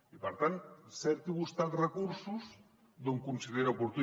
i per tant cerqui vostè els recursos on ho consideri oportú